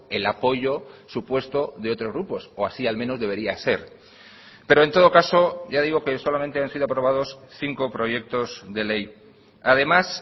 el apoyo supuesto de otros grupos o así al menos debería ser pero en todo caso ya digo que solamente han sido aprobados cinco proyectos de ley además